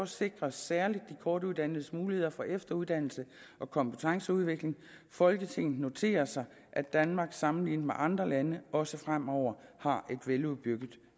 sikres særligt de kortuddannedes muligheder for efteruddannelse og kompetenceudvikling folketinget noterer sig at danmark sammenlignet med andre lande også fremover har et veludbygget